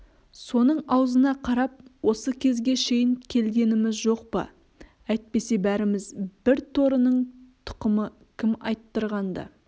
соның аузына қарап осы кезге шейін келгеніміз жоқ па әйтпесе бәріміз бір торының тұқымы кім айттырғанда